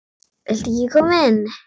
Viltu ekki koma inn?